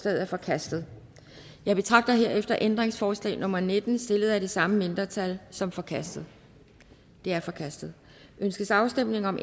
er forkastet jeg betragter herefter ændringsforslag nummer nitten stillet af det samme mindretal som forkastet det er forkastet ønskes afstemning om